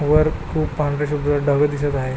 वर खुप पांढरे शुभ्र ढग दिसत आहे.